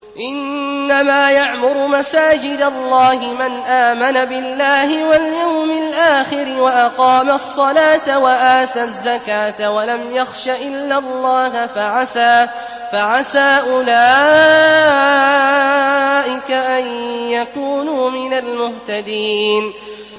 إِنَّمَا يَعْمُرُ مَسَاجِدَ اللَّهِ مَنْ آمَنَ بِاللَّهِ وَالْيَوْمِ الْآخِرِ وَأَقَامَ الصَّلَاةَ وَآتَى الزَّكَاةَ وَلَمْ يَخْشَ إِلَّا اللَّهَ ۖ فَعَسَىٰ أُولَٰئِكَ أَن يَكُونُوا مِنَ الْمُهْتَدِينَ